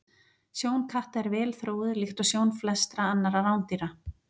Sjón katta er vel þróuð líkt og sjón flestra annarra rándýra.